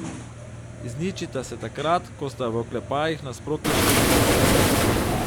Izničita se takrat, ko sta v oklepajih nasprotni števili.